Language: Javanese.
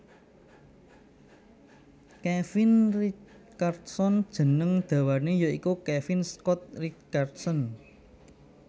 Kevin Richardson jeneng dawané ya iku Kevin Scott Richardson